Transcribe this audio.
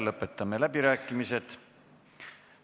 Lõpetame läbirääkimised.